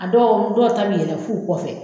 A dɔw dɔw ta bɛ yɛlɛ f'u kɔfɛ.